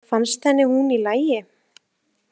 Fannst henni hún í lagi?